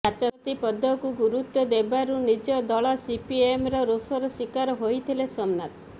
ବାଚସ୍ପତି ପଦକୁ ଗୁରୁତ୍ୱ ଦେବାରୁ ନିଜ ଦଳ ସିପିଏମର ରୋଶର ଶୀକାର ହୋଇଥିଲେ ସୋମନାଥ